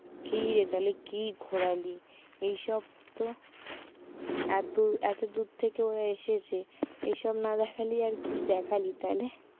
কি রে তাহলে কি ঘোরালি এইসব তো এতদূর এতদূর থেকেও এসেছে এসব না দেখালে আর কি দেখালি তাহলে?